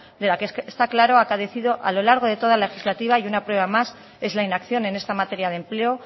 de la que está claro ha carecido a lo largo de toda legislativa y una prueba más es la inacción en esta materia de empleo